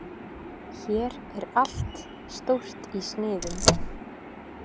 Hér er allt stórt í sniðum.